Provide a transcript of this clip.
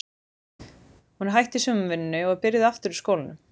Hún er hætt í sumarvinnunni og er byrjuð aftur í skólanum.